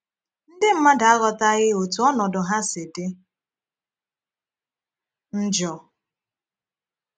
Ndị mmadụ aghọtaghị otú ọnọdụ ha si dị njọ.